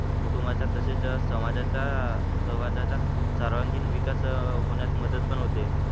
कुटुंबाचा तसेच समाजाचा आह समाजाचा सर्वांगीण विकास होण्यास मदत पण होते.